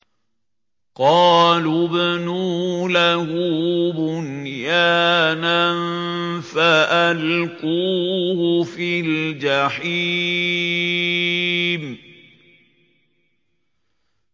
قَالُوا ابْنُوا لَهُ بُنْيَانًا فَأَلْقُوهُ فِي الْجَحِيمِ